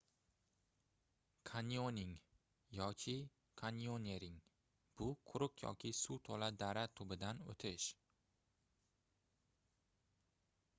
kanyoning yoki: kanyonering — bu quruq yoki suv to'la dara tubidan o'tish